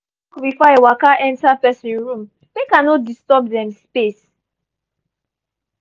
i dey knock before i waka enter person room make i no disturb dem space.